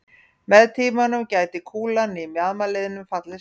Með tímanum gæti kúlan í mjaðmarliðnum fallið saman.